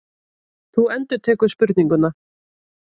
Þú endurtekur spurninguna.